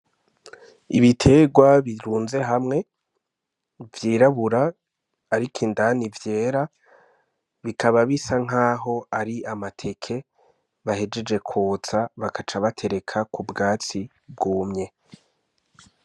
Ibitegwa birunze hamwe vyirabura ariko indani vyera bikaba bisa nkaho ari amateke bahejeje kwotsa bakaca batereka ku bwatsi bwumye.